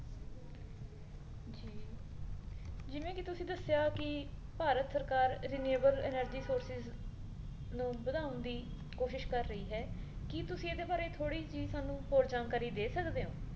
ਜਿਵੇਂ ਕੀ ਤੁਸੀ ਦੱਸਿਆ ਕੀ ਭਾਰਤ ਸਰਕਾਰ reliable energy sources ਨੂੰ ਵਧਾਉਣ ਦੀ ਕੋਸ਼ਿਸ਼ ਕਰ ਰਹੀ ਹੈ ਕੀ ਤੁਸੀ ਇਹਦੇ ਬਾਰੇ ਥੋੜੀ ਜੀ ਸਾਨੂੰ ਹੋਰ ਜਾਣਕਾਰੀ ਦੇ ਸਕਦੇ ਹੋ